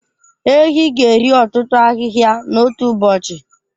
Ehi ga-eri ọtụtụ ahịhịa n'otu ụbọchị.